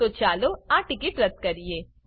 તો ચાલો આ ટીકીટ રદ્દ કરીએ